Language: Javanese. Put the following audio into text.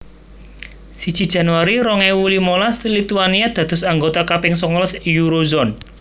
Siji Januari rong ewu limolas Lituania dados anggota kaping songolas Eurozone